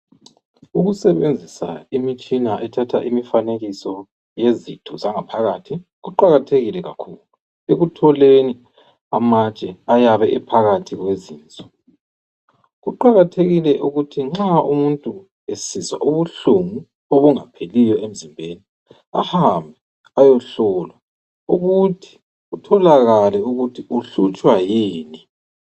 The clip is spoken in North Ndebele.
Ukusebenzisa imitshina ethatha imifanekiso yezitho zanga phakathi kuqakathekile kakhulu ekutholeni amatshe ayabe ephakathi kwezinso. Kuqakathekile ukuthi nxa umuntu esizwa ubuhlungu obungapheliyo emzimbeni ahambe ayohlolwa ukuthi kutholakale ukuthi uhlutshwa yini.